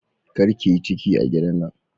Kar ki yi ciki a gidan nan.